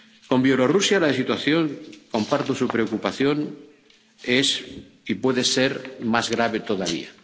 Con Bielorrusia, la situación —comparto su preocupación— es y puede ser más grave todavía.